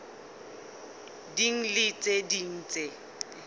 ding le tse ding tse